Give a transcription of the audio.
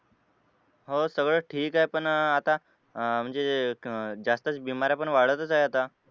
हो सगळं ठीक आहे पण अह आता अह म्हणजे अह जास्त बिमार आपण वाढतच आहेत आता.